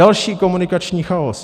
Další komunikační chaos.